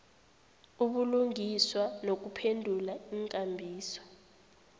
ubulungiswa nokuphendula iinkambiso